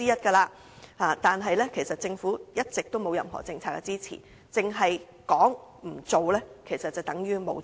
政府其實一直沒有任何政策支持，只說不做，其實便等於沒有做。